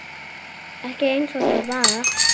Ekki einsog það var.